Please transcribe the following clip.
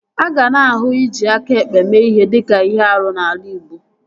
A ga na-ahụ iji aka ekpe mee ihe dịka ihe árú n'ala igbo